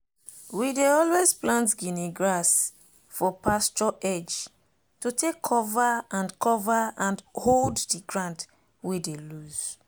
we dey always plant guinea grass for pasture edge to take cover and cover and hold the ground wey dey loose.